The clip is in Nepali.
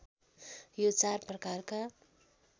यो चार प्रकारका